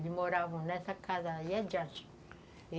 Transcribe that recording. Eles moravam nessa casa aí adiante.